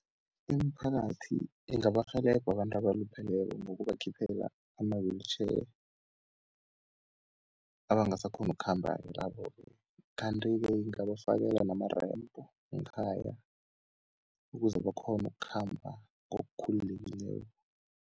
Imiphakathi ingabarhelebha abantu abalupheleko ngokubakhiphela ama-wheelchair, abangasakghoni ukukhamba-ke labo-ke. Kanti-ke ingabafakela nama-ramp ngekhaya, ukuze bakghone ukukhamba ngokukhululekileko.